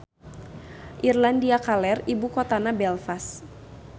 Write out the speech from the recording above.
Irlandia Kaler ibu kotana Belfast.